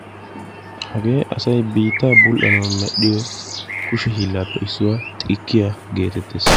Hagee asay biitta bul'annawu medhdhiyo xikkaiya geettetes.